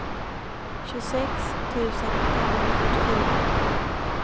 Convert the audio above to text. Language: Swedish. tjugosex tusen femhundrafyrtiofyra